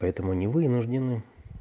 поэтому они вынуждены